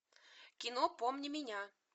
кино помни меня